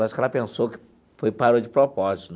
Acho que ela pensou que parou de propósito.